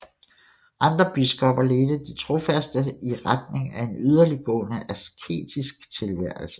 Andre biskopper ledte de trofaste i retning af en yderligtgående asketisk tilværelse